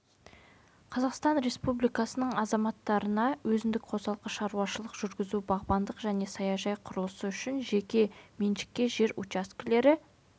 қазақстан республикасының азаматтарына өзіндік қосалқы шаруашылық жүргізу бағбандық және саяжай құрылысы үшін жеке меншікке жер учаскелері